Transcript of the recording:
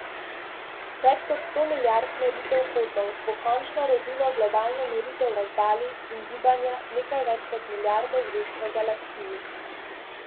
Več kot sto milijard meritev kotov bo končno rodilo globalno meritev razdalj in gibanja nekaj več kot milijarde zvezd v Galaksiji.